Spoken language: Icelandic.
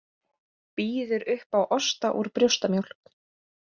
Býður upp á osta úr brjóstamjólk